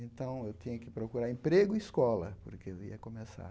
Então, eu tinha que procurar emprego e escola, porque ia começar.